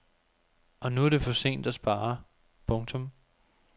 Og nu er det for sent at spare. punktum